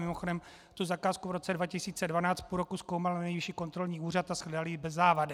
Mimochodem tu zakázku v roce 2012 půl roku zkoumal Nejvyšší kontrolní úřad a shledal ji bez závady.